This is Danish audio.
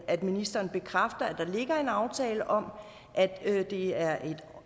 at ministeren bekræfter at der ligger en aftale om at det er et